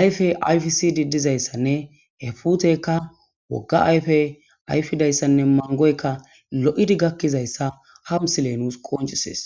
ayfe ayfsidi dizayssanne he putekka wogga ayfe ayfidayssanne mangoykka lo7idi gakkizayssa ha misile nuus qoncisees